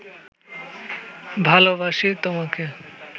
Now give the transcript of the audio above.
ভালবাসি তোমাকে